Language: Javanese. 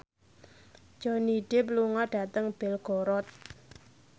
Johnny Depp lunga dhateng Belgorod